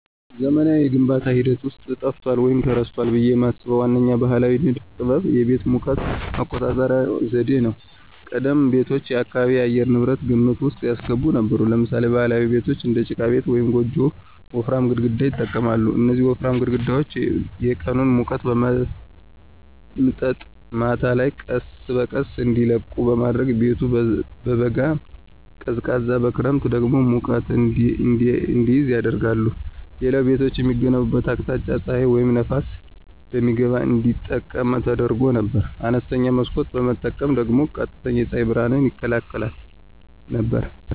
በዘመናዊው የግንባታ ሂደት ውስጥ ጠፍቷል ወይም ተረስቷል ብዬ የማስበው ዋነኛው ባሕላዊ ንድፍ ጥበብ የቤቶች የሙቀት መቆጣጠሪያ ዘዴ ነው። ቀደምት ቤቶች የአካባቢን የአየር ንብረት ግምት ውስጥ ያስገቡ ነበሩ። ለምሳሌ ባህላዊ ቤቶች (እንደ ጭቃ ቤት ወይም ጎጆ) ወፍራም ግድግዳዎችን ይጠቀማሉ። እነዚህ ወፍራም ግድግዳዎች የቀኑን ሙቀት በመምጠጥ ማታ ላይ ቀስ በቀስ እንዲለቁ በማድረግ ቤቱ በበጋ ቀዝቃዛ በክረምት ደግሞ ሙቀት እንዲይዝ ያደርጋሉ። ሌላው ቤቶች የሚገነቡበት አቅጣጫ ፀሐይን ወይም ነፋስን በሚገባ እንዲጠቀም ተደርጎ ነበር። አነስተኛ መስኮት መጠቀም ደግሞ ቀጥተኛ የፀሐይ ብርሃንን ይከላከል ነበር።